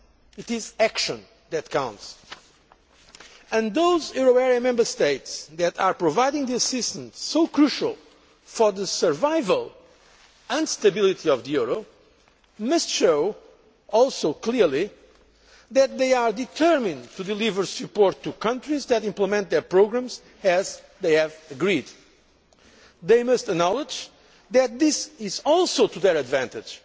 It is action that counts and those euro area Member States that are providing the assistance so crucial for the survival and stability of the euro must also clearly show that they are determined to deliver support to countries that implement their programmes, as they have agreed. They must acknowledge that this is also to their advantage.